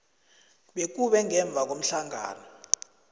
bekube ngemva komhlangano